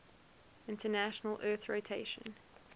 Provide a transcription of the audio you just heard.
international earth rotation